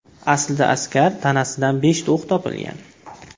Aslida askar tanasidan beshta o‘q topilgan.